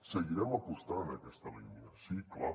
seguirem apostant en aquesta línia sí clar